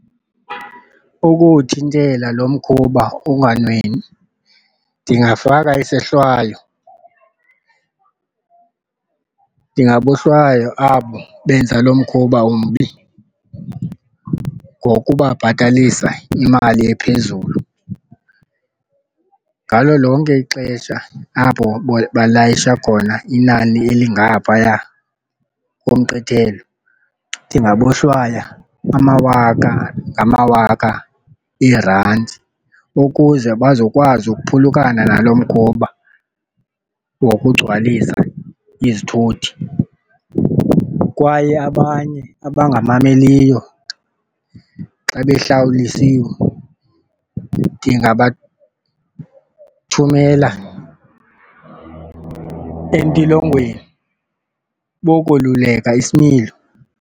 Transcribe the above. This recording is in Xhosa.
Ukuwuthintela lo mkhuba unganwenwi ndingafaka isohlwayo. Ndingahlwaya abo benza lo mkhuba umbi ngokubabhatalisa imali ephezulu ngalo lonke ixesha apho balayisha khona inani elingaphaya komgqithelo. Ndingabohlwaya amawaka ngamawaka eerandi ukuze bazokwazi ukuphulukana nalo mkhuba wokugcwalisa izithuthi kwaye abanye abangamameliyo xa behlawulisiwe ndingabathumela entilongweni bokweluleka isimilo.